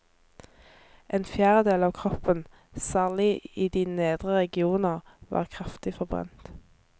En fjerdedel av kroppen, særlig i de nedre regioner, var kraftig forbrent.